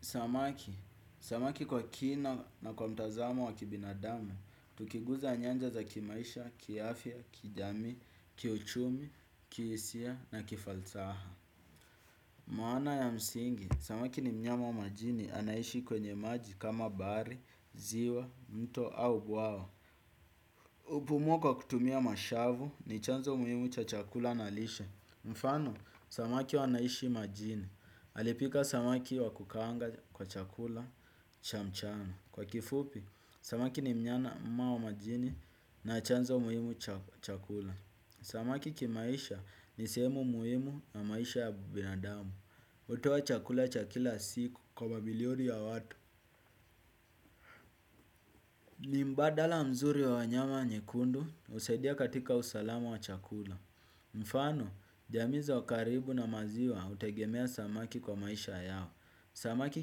Samaki, samaki kwa kina na kwa mtazamo wa kibinadamu, tukiguza nyanja za kimaisha, kiafya, kijamii, kiuchumi, kihisia na kifalsaha. Maana ya msingi, samaki ni mnyama wa majini anaishi kwenye maji kama bahari, ziwa, mto au bwawa. Hupumua kwa kutumia mashavu ni chanzo muhimu cha chakula na lishe. Mfano, samaki wanaishi majini. Alipika samaki wa kukanga kwa chakula cha mchana. Kwa kifupi, samaki ni mnyama wa majini na chanzo muhimu cha chakula. Samaki kimaisha ni sehemu muhimu wa maisha ya binadamu. Hutoa chakula cha kila siku kwa mabilioni ya watu. Ni mbadala mzuri wa nyama nyekundu husaidia katika usalama wa chakula. Mfano, jamii ziko karibu na maziwa hutegemea samaki kwa maisha yao. Samaki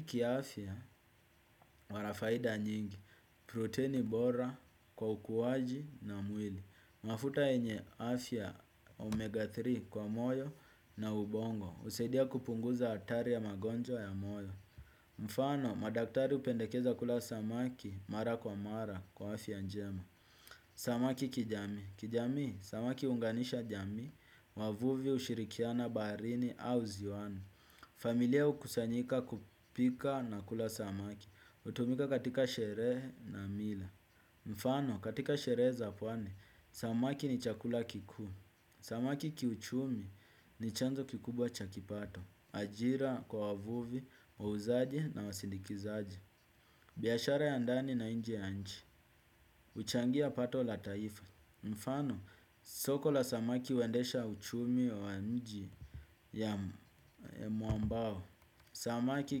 kiaafya wana faida nyingi. Proteini bora kwa ukuwaji na mwili. Mafuta yenye afya omega tatu kwa moyo na ubongo. Husaidia kupunguza hatari ya magonjwa ya moyo. Mfano, madaktari hupendekeza kula samaki mara kwa mara kwa afya njema. Samaki kijamii kijamii, samaki huunganisha jamii, wavuvi hushirikiana baharini au ziwani. Familia hukusanyika kupika na kula samaki, hutumika katika sherehe na mila. Mfano, katika sherehe za pwani, samaki ni chakula kikuu. Samaki kiuchumi ni chanzo kikubwa cha kipato. Ajira kwa wavuvi wauzaji na wasindikizaji biashara ya ndani na nje ya nchi huchangia pato la taifa. Mfano, soko la samaki huendesha uchumi wa mji ya mwambao. Samaki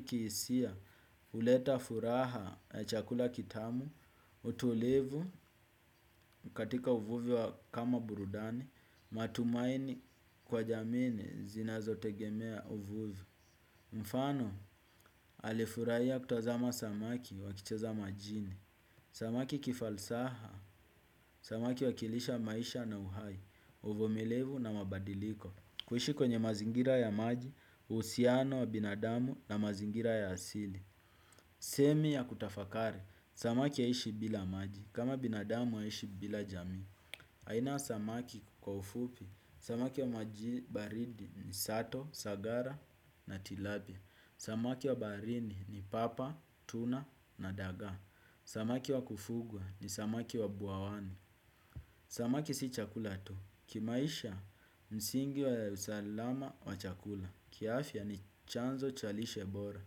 kihisia huleta furaha chakula kitamu. Utulivu katika uvuvi kama burudani matumaini kwa jamii ni zinazotegemea uvuvi. Mfano, alifurahia kutazama samaki wakicheza majini. Samaki kifalsaha, samaki huwakilisha maisha na uhai, uvumilivu na mabadiliko. Kuishi kwenye mazingira ya maji, uhusiano wa binadamu na mazingira ya asili. Semi ya kutafakari, samaki haishi bila maji, kama binadamu haishi bila jamii. Aina samaki kwa ufupi, samaki wa maji baridi ni sato, sagara na tilapia. Samaki wa barini ni papa, tuna na daga. Samaki wa kufugwa ni samaki wa buawani. Samaki si chakula to. Kimaisha msingi wa usalama wa chakula kiafya ni chanzo cha lishebora.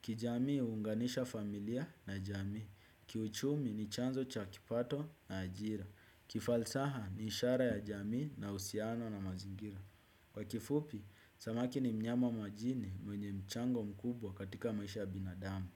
Kijamii huunganisha familia na jamii. Kiuchumi ni chanzo cha kipato na ajira. Kifalsaha ni ishara ya jamii na uhusiano na mazingira. Kwa kifupi, samaki ni mnyama majini mwenye mchango mkubwa katika maisha binadamu.